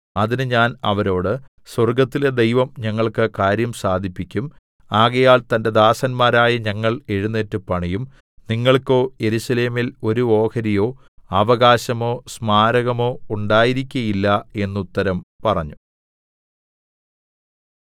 അതിന് ഞാൻ അവരോട് സ്വർഗ്ഗത്തിലെ ദൈവം ഞങ്ങൾക്ക് കാര്യം സാധിപ്പിക്കും ആകയാൽ തന്റെ ദാസന്മാരായ ഞങ്ങൾ എഴുന്നേറ്റ് പണിയും നിങ്ങൾക്കോ യെരൂശലേമിൽ ഒരു ഓഹരിയോ അവകാശമോ സ്മാരകമോ ഉണ്ടായിരിക്കയില്ല എന്നുത്തരം പറഞ്ഞു